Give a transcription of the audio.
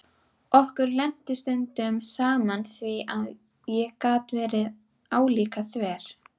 Okkur lenti stundum saman því ég gat verið álíka þver.